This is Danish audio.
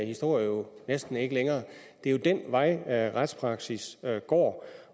historie jo næsten ikke længere det er jo den vej retspraksis går